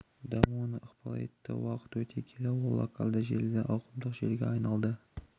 дамуына ықпал етті уақыт өте келе ол локальды желіден ауқымды желіге айналды